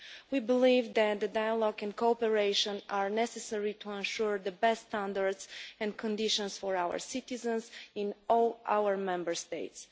We believe that dialogue and cooperation are necessary to ensure the best standards and conditions for our citizens in all our Member States.